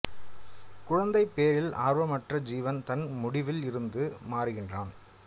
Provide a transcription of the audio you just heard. குழந்தைப் பேறில் ஆர்வமற்ற ஜீவன் தன் முடிவில் இருந்து மாறுகிறான்